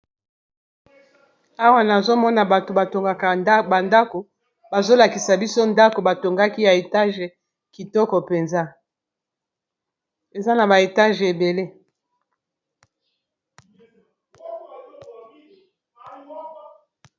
awa nazomona bato batongaka bandako bazolakisa biso ndako batongaki ya etage kitoko mpenza eza na ba etage ebele